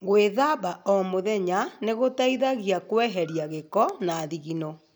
Gwíthamba o mũthenya nĩ gũteithagia kweheria gĩko na thigino.